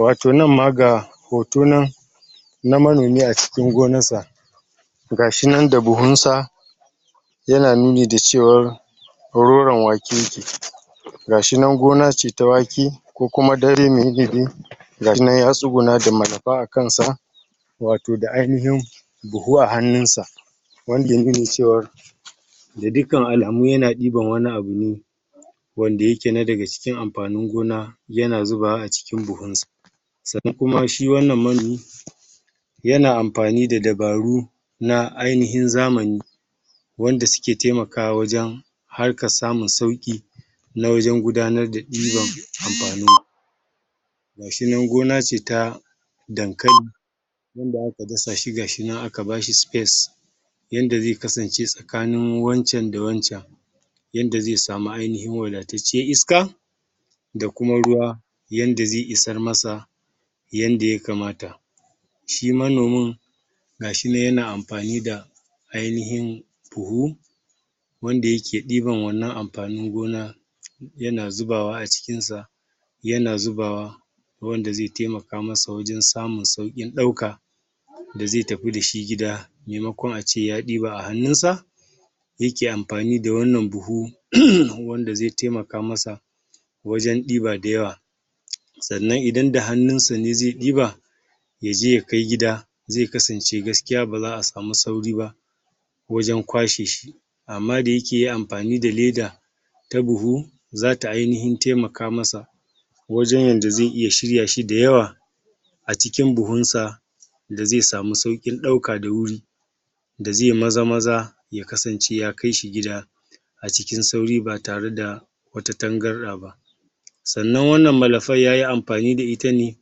Wato nan ma ga hotonan na manomi a cikin gonarsa gashinan da buhunsa yana nuni da cewar hororon wake ke ciki gashinan gona ce ta wake Ko kuma gashinan ya tsugunna da malafa a kansa wato da ainihin buhu a hannunsa wanda ya nuna cewar da dukkan alamu yana diban wani abu ne wanda yake na daga cikin amfanin gona yana zubawa a cikin buhunsa sannan kuma shi wannan manomi yana amfani da dabaru na ainihin zamani wanda suke taimakawa wajen harkar samun sauki wajen gudanar da diban amfanin gashinan gona ce ta dankali wanda aka dasa shi gashinan aka bashi space yanda zai asance tsakanin wancan da wancan yadda zai samu ainihin wadatacciyar iska da kuma ruwa yanda zai isar masa yadda ya kamata shi manomin gashinan yana amfani da ainihin buhu wanda yake diban wannan amfanin gona yana zubawa a cikinsa yana zubawa wanda zai taimaka masa wjen samun saukin dauka da zai tafi dashi gida maimakon ace ya diba a hannunsa yake amfani da wannan buhu wanda zai taimaka masa wajen diba dayawa sannan idan da hannunsa ne zai diba, yaje ya kai gida zai kasance gaskiya baza'a samu sauri ba wajen kwashe shi amma da yake amfani da leda ta buhu zata inihin taimaka masa wajen yadda zai iya shiryashi dayawa acikin buhunsa da zai samu saukin dauka da wuri da zai maza maza ya kasance ya kaishi gida acikin sauri ba tare da wata tangarda ba sannan wanann malafar yayi amfani da ita ne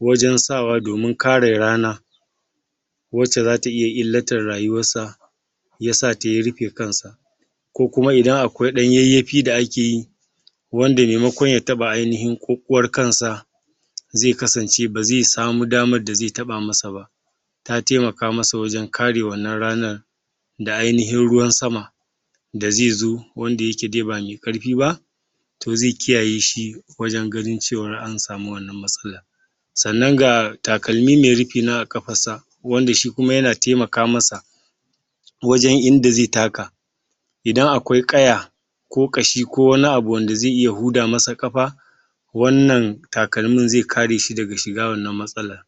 wajen sawa domin kare rana wacce zata iya illatar rayuwarsa yasata ya rufe kansa ko kuma idan akwai dan yayyafi da akeyi wanda maimakon ya taba ainihin kukwar kansa zai kasance bazai samuu damar da zai taba masa ba ta taimaka masa wajen kare wannan ranar da ainihin ruwan sama da zaizo wanda yae dai ba mai karfi ba to zai kiyae shi wajen ganin cewar an samu wannan matsalar sannan ga takalmi mai rufi nan a kafarsa wanda shi kuma yana taimaka masa wajan inda zai taka Idan akwai kaya ko kashi ko wani abu wanda zai iya huda masa kafa, wanan takalmin zai kare shi daga shiga wannan matsalar